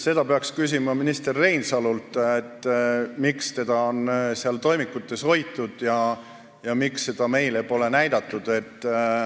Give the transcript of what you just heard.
Seda peaks küsima minister Reinsalult, miks seda on seal toimikute hulgas hoitud ja miks seda meile pole näidatud.